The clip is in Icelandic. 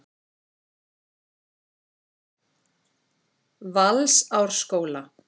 Valsárskóla